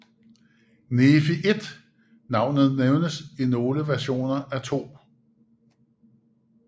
Nefi 1 Navnet nævnes i nogle versioner af 2